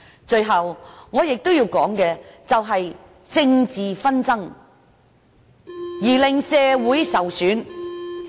最後，我亦要談談政治紛爭令社會受損的問題。